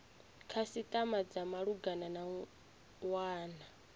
khasitama dza malugana na wana